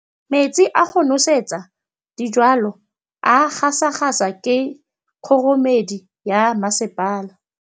Metsi a go nosetsa dijalo a gasa gasa ke kgogomedi ya masepala.